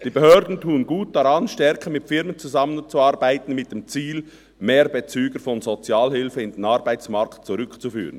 Die Behörden tun gut daran, stärker mit Firmen zusammenzuarbeiten mit dem Ziel, mehr Bezüger von Sozialhilfe in den Arbeitsmarkt zurückzuführen.